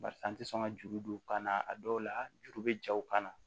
Barisa n te sɔn ka juru don ka na a dɔw la juru be ja u kan na